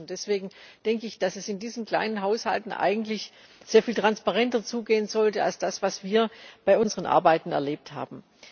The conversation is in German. Deswegen denke ich, dass es in diesen kleinen Haushalten eigentlich sehr viel transparenter zugehen sollte als das, was wir bei unseren Arbeiten erlebt haben.